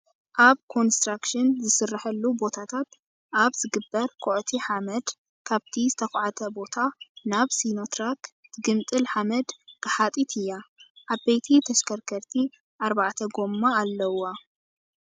ኣብ ኮንስትራክሽን ዝስረሐሉ ቦታታት ኣብ ዝግበር ኮዕቲ ሓመድ ካብቲ ዝተኮዕተ ቦታ ናብ ሲኖትራክ ትግምጥል ሓመድ ግሓጢት እያ። ዓበይቲ ተሽከርከር ኣርባዕተ ጎማ ኣለዋ።